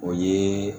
O ye